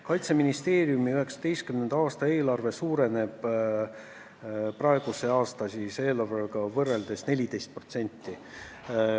Kaitseministeeriumi 2019. aasta eelarve suureneb praeguse aasta eelarvega võrreldes 14%.